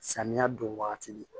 Samiya don wagati